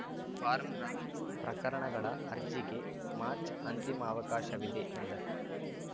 ಫಾರ್ಮ್ರ ಪ್ರಕರಣಗಳ ಅರ್ಜಿಗೆ ಮಾರ್ಚ್ ಅಂತಿಮ ಅವಕಾಶವಿದೆ ಎಂದರು